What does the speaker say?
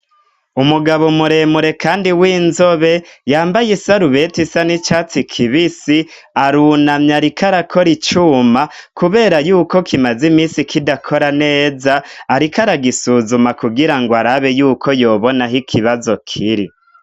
Umugabo muremure kandi w'inzobe, yambaye isarubeti isa n'icatsi kibisi, arunamye ariko arakora icuma. Kubera yuko kimaze imisi kidakora neza, ariko aragisuzuma, kugira ngo arabe yuko yobona aho ikibazo kiri.